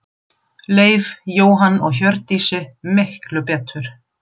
Leif, Jóhann og Hjördísi, miklu betur.